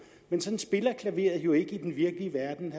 men sådan spiller klaveret jo ikke i den virkelige verden